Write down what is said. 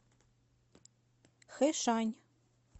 хэшань